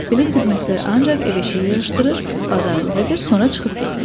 Belə xidmətçilər ancaq ev işi yığışdırır, bazarlıq edir, sonra çıxıb gedirlər.